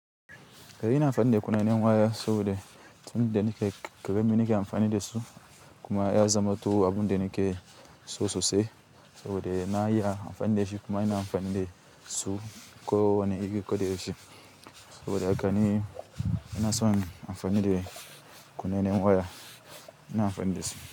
Kayi na amfani da kunannen waya saboda tun da ni ke, ƙara mini ke amfani da su kuma ya zama to abun da ni ke so sosai saboda na iya amfani da shi kuma ina amfani da su ko wane iri ko da ya yake saboda haka ni ina son amfani da kunannen waya, ina amfani da su.